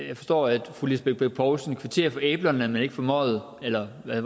jeg forstår at fru lisbeth bech poulsen kvitterer for æblerne men ikke for møget eller hvad